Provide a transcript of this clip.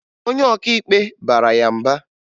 Onye ọkaikpe bara ya mba